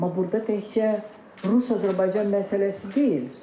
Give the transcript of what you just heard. Amma burda təkcə Rus-Azərbaycan məsələsi deyil.